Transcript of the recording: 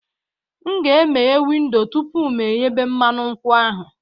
M ga-emeghe windo tupu m eyebe mmanụ nkwụ ahụ